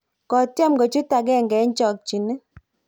kotyem kochuut agenge eng' chokchinet